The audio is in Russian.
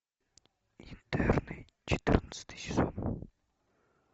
интерны четырнадцатый сезон